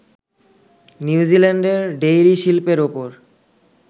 নিউজিল্যান্ডের ডেইরি শিল্পের ওপর